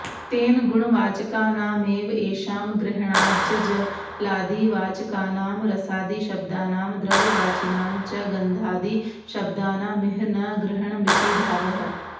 तेन गुणवाचकानामेव एषां ग्रहणाज्जलादिवाचकानां रसादिशब्दानां द्रव्यवाचिनां च गन्धादिशब्दानामिह न ग्रहणमिति भावः